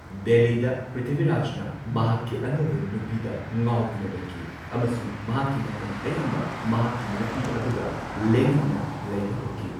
ꯗꯦꯜꯂꯤꯗ ꯄ꯭ꯔꯤꯊꯤꯕꯤꯔꯥꯖꯅ ꯃꯍꯥꯛꯀꯤ ꯑꯅꯧꯕ ꯅꯨꯄꯤꯗ ꯉꯥꯎꯗꯨꯅ ꯂꯩꯈꯤ, ꯑꯃꯁꯨꯡ ꯃꯍꯥꯛꯀꯤ ꯃꯇꯝ ꯑꯌꯥꯝꯕ ꯃꯍꯥꯛꯀꯤ ꯅꯨꯄꯤ ꯑꯗꯨꯒ ꯂꯦꯟꯅꯗꯨꯅ ꯂꯩꯕ ꯍꯧꯈꯤ꯫